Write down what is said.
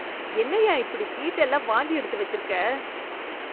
என்னய்யா இப்படி சீட் எல்லாம் வாந்தி எடுத்து வச்சிருக்க